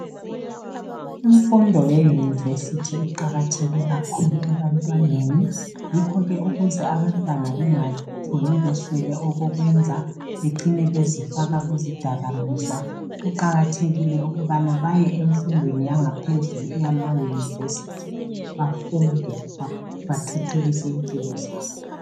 Imfundo yeyunivesithi iqakatheke kakhulu ebantwaneni yikho ke ukuze abantwana bengatshoni beswele okokwenza becine bezifaka kuzidakamizwa. Kuqakathekile ukubana baye emfundweni yangaphezulu eyamayunivesithi bafunde bathuthukise impilo zabo.